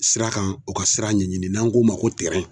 Sira kan u ka sira ɲɛɲini n'an k'o ma ko .